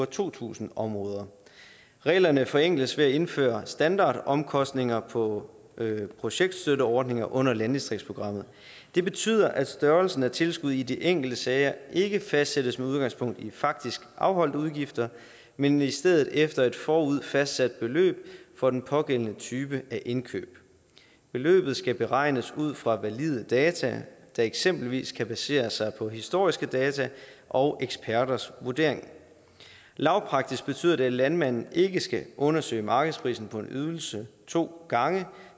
to tusind områder reglerne forenkles ved at indføre standardomkostninger på projektstøtteordninger under landdistriktsprogrammet det betyder at størrelsen af tilskud i de enkelte sager ikke fastsættes med udgangspunkt i faktisk afholdte udgifter men i stedet efter et forud fastsat beløb for den pågældende type af indkøb beløbet skal beregnes ud fra valide data der eksempelvis kan basere sig på historiske data og eksperters vurdering lavpraktisk betyder det at landmanden ikke skal undersøge markedsprisen på en ydelse to gange